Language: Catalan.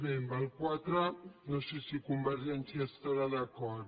bé en el quatre no sé si convergència hi estarà d’acord